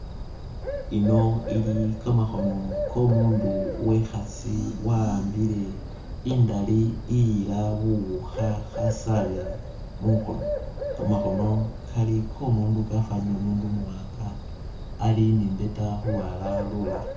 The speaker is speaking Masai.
Ino ili kamakhono ko'omundu wekhasi, waambile indali iyira buwukha khasabila mukhono. Kamakhono kali ko'omundu kafwanile umundu umuwanga, ali ni i'mbeeta khulwala lulala